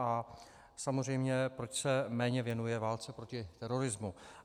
A samozřejmě, proč se méně věnuje válce proti terorismu.